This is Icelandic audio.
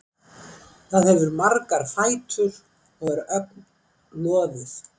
Það hefur margar fætur og er ögn loðið.